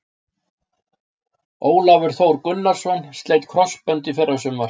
Ólafur Þór Gunnarsson sleit krossbönd í fyrrasumar.